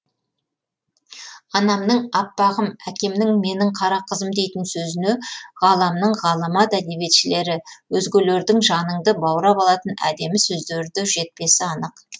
анамның аппағым әкемнің менің қара қызым дейтін сөзіне ғаламның ғаламат әдебиетшілері өзгелердің жаныңды баурап алатын әдемі сөздері де жетпесі анық